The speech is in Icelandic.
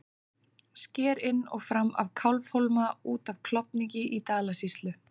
Sker inn og fram af Kálfhólma út af Klofningi í Dalasýslu.